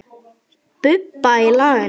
Bubba í laginu.